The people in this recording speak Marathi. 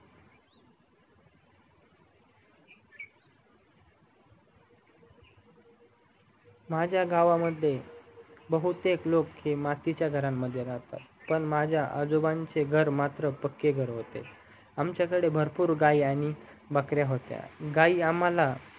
माझा गावामध्ये बहुतेक लोक हे मातीच्या घरामध्ये राहतात पण माझ्या आजोबांचे घर पक्के घर होते आमच्या कडे भरपूर गाई आणि बाकार्‍य होत्या गाई आम्हाला